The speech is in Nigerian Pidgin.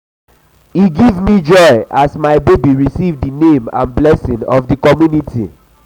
e give me joy as my baby receive di name and blessings of di community